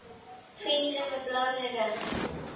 Hvítri með blárri rönd.